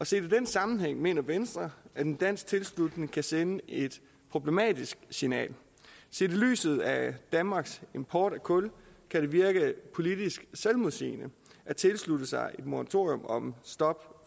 set i den sammenhæng mener venstre at en dansk tilslutning kan sende et problematisk signal set i lyset af danmarks import af kul kan det virke politisk selvmodsigende at tilslutte sig et moratorium